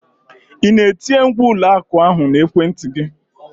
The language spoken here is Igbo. Ị na-etinye ngwa ụlọ akụ ahụ na ekwentị gị?